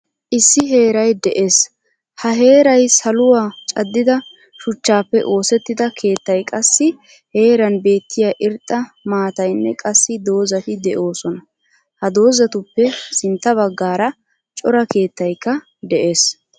Issi heeray de'ees. Ha heeray saluwaa caddida shuchchappe oosettida keettay qassi heeran beettiya irxxa maataaynne qassi dozati deosona. Ha dozatuppee sintta baggaara cora keettaykka de'ees.